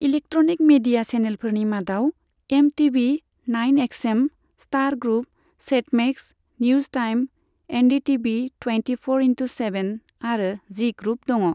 Electronic media चैनेलफोरनि मादाव MTV, nine XM, Star group, Set Max, news time, NDTV twenty four into seven आरो Zee group दङ।